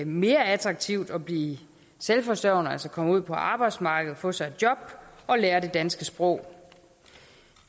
mere attraktivt at blive selvforsørgende altså at komme ud på arbejdsmarkedet få sig et job og lære det danske sprog